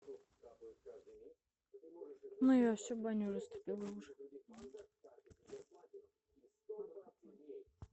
ну я все баню растопила уже